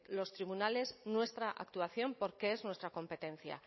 los tribunales nuestra actuación porque es nuestra competencia